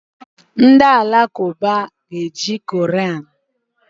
Ndị Alakụba na eji Koran